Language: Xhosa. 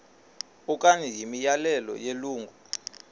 okanye imiyalelo yelungu